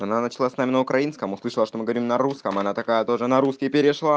она начала с нами на украинском услышала что мы говорим на русском она такая тоже на русский перешла